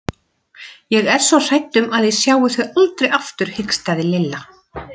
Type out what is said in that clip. Ég er svo hrædd um að ég sjái þau aldrei aftur hikstaði Lilla.